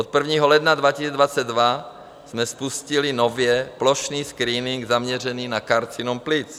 Od 1. ledna 2022 jsme spustili nově plošný screening zaměřený na karcinom plic.